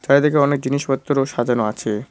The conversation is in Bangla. বাইরেদিকে অনেক জিনিসপত্র সাজানো আছে।